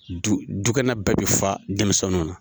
Dukɛnɛ bɛɛ be fa denmisɛnw na.